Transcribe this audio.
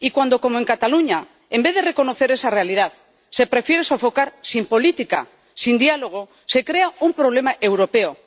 Y cuando, como en Cataluña, en vez de reconocer esa realidad, se prefiere sofocar sin política, sin diálogo, se crea un problema europeo.